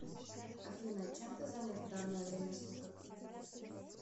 афина чем ты занят в данное время суток